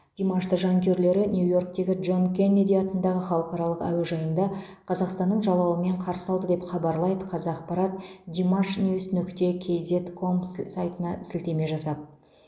димашты жанкүйерлері нью иорктегі джон кеннеди атындағы халықаралық әуежайында қазақстанның жалауымен қарсы алды деп хабарлайды қазақпарат димашниюс нүкте кизед комс сайтына сілтеме жасап